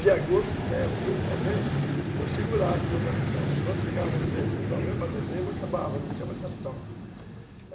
de agosto até outubro, novembro, eu segurava com o meu capital, mas quando chegava novembro para dezembro, acabava, não tinha mais capital.